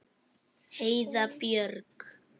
Heiða Björg.